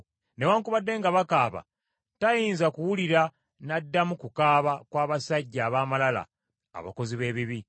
Newaakubadde nga bakaaba, tayinza kuwulira n’addamu kukaaba kw’abasajja ab’amalala abakozi b’ebibi.